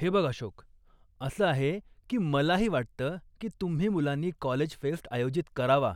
हे बघ अशोक, असं आहे की मलाही वाटतं की तुम्ही मुलांनी कॉलेज फेस्ट आयोजित करावा